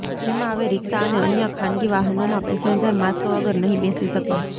જેમાં હવે રીક્ષા અને અન્ય ખાનગી વાહનોમાં પેસેન્જર માસ્ક વગર નહીં બેસી શકે